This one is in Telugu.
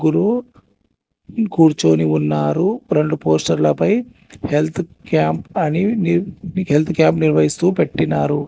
ముగ్గురు కూర్చొని ఉన్నారు రెండు పోస్టర్ లపై హెల్త్ క్యాంప్ అని నీ ని హెల్త్ క్యాంప్ నిర్వహిస్తూ పెట్టినారు.